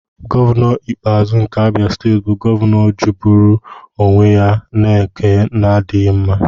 Gọvanọ Ikpeazu nke Abia bụ gọvanọ jọgburu onwe ya na nke na-adịghị mma.